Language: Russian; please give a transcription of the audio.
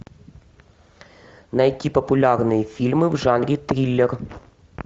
найти популярные фильмы в жанре триллер